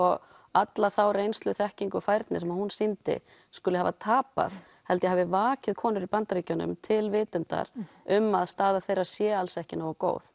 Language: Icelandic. alla þá reynslu þekkingu og færni sem hún sýndi skuli hafa tapað held ég að hafi vakið konur í Bandaríkjunum til vitundar um að staða þeirra sé alls ekki nógu góð